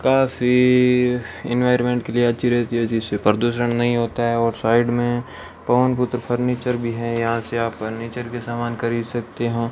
काफी इनवायरमेंट के लिए अच्छी रहती है जिसे प्रदूषण नही होता है और साइड मे पवन पुत्र फर्नीचर भी है यहां से आप फर्नीचर के समान खरीद सकते हो।